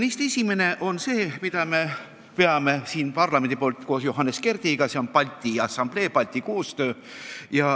Neist esimene on see, mida me veame siin parlamendis koos Johannes Kerdiga: see on Balti Assamblee töö, Balti koostöö.